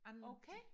Okay